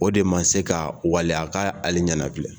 O de ma se ka waleya a ka ale ɲɛnafilɛ